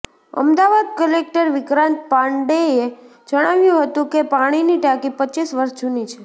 Ahmedabad collector Vikrant પાંડેએ જણાવ્યું હતું કે પાણીની ટાંકી પચીસ વર્ષ જુની છે